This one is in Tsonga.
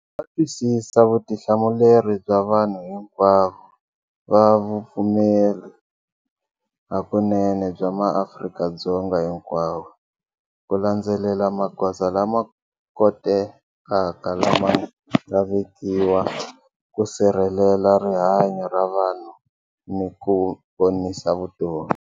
Va twisisa vutihlamuleri bya vanhu hinkwavo va vupfumeri hakunene bya maAfrika-Dzonga hinkwavo, ku landzelela magoza lama kotekaka lama nga vekiwa ku sirhelela rihanyu ra vanhu ni ku ponisa vutomi.